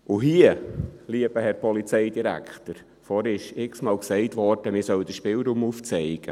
Und, lieber Herr Polizeidirektor, vorhin wurde x-mal gesagt, man solle den Spielraum aufzeigen.